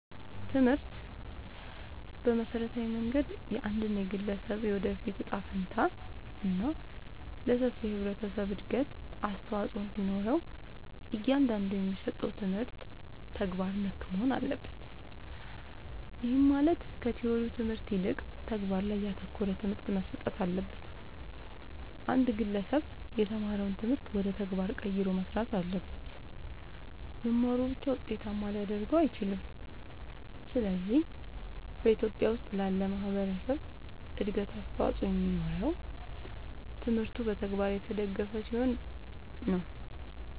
ትምህርት በመሠረታዊ መንገድ የአንድን ግለሠብ የወደፊት እጣ ፈንታ እና ለሠፊው የህብረተሠብ እድገት አስተዋፅኦ እንዲኖረው እያንዳንዱ የሚሠጠው ትምህርት ተግባር ነክ መሆን አለበት። ይህም ማለት ከቲወሪው ትምህርት ይልቅ ተግባር ላይ ያተኮረ ትምህርት መሠጠት አለበት። አንድ ግለሠብ የተማረውን ትምህርት ወደ ተግባር ቀይሮ መሥራት አለበት። መማሩ ብቻ ውጤታማ ሊያደርገው አይችልም። ስለዚህ በኢትዮጲያ ውስጥ ላለ ማህበረሠብ እድገት አስተዋፅኦ የሚኖረው ትምህርቱ በተግባር የተደገፈ ሲሆን ነው።